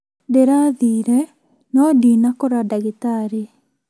Ndĩrathire no ndinakora ndagĩtarĩ